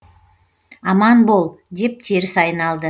аман бол деп теріс айналды